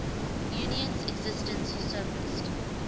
union's existence surfaced